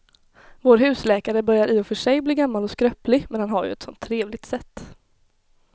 Vår husläkare börjar i och för sig bli gammal och skröplig, men han har ju ett sådant trevligt sätt!